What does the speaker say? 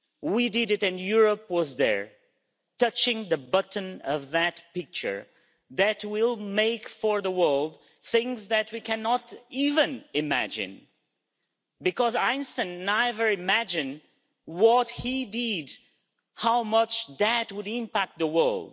We did it, and Europe was there, touching the button of that picture, which will make for the world things that we cannot even imagine, because even Einstein could never have imagined what he did how much that would impact the world.